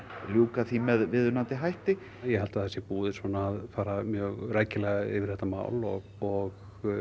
ljúka því með viðeigandi hætti ég held að það sé búið svona að fara mjög rækilega yfir þetta mál og og